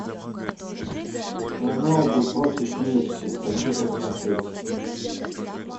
роналду против месси хочу посмотреть